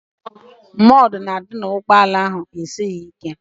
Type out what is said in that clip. Mọd gaadị dị n'ụgbọala ahụ esighị ike.